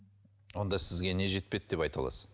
онда сізге не жетпеді деп айта аласыз